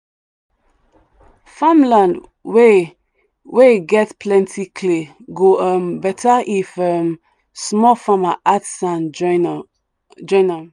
farmland wey wey get plenty clay go um better if um small farmers add sand join um am.